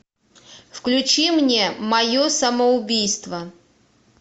включи мне мое самоубийство